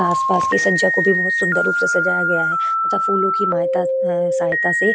आस पास के सज्जा को भी बहोत सुन्दर रूप से सजाया गया है तथा फूलो की मायता अ सहयता से --